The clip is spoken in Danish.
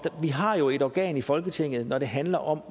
har jo et organ i folketinget når det handler om